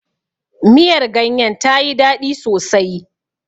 Miyar ganyen ta yi daɗi sosai.